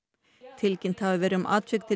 tilkynnt hafi verið um atvik til